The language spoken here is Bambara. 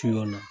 na